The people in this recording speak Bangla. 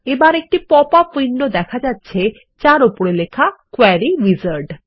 এবার একটি পপআপ উইন্ডোতে দেখা যাচ্ছে যার উপরে লেখা কোয়েরি উইজার্ড